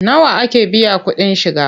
Nawa ake biyan kuɗin shiga?